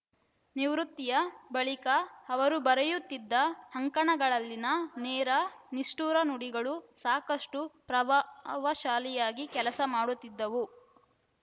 ನಿವೃತ್ತಿಯ ಬಳಿಕ ಅವರು ಬರೆಯುತ್ತಿದ್ದ ಅಂಕಣಗಳಲ್ಲಿನ ನೇರ ನಿಷ್ಠುರ ನುಡಿಗಳು ಸಾಕಷ್ಟುಪ್ರವ ವಶಾಲಿಯಾಗಿ ಕೆಲಸ ಮಾಡುತ್ತಿದ್ದವು